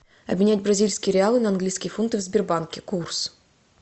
обменять бразильские реалы на английские фунты в сбербанке курс